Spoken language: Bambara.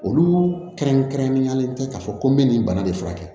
Olu kɛrɛnkɛrɛnnenyalen tɛ k'a fɔ ko n bɛ nin bana de furakɛ